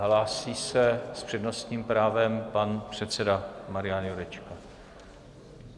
Hlásí se s přednostním právem pan předseda Marian Jurečka.